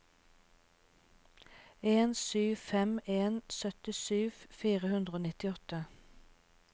en sju fem en syttisju fire hundre og nittiåtte